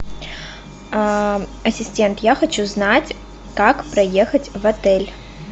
ассистент я хочу знать как проехать в отель